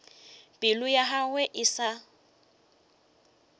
pelo ya gagwe e sa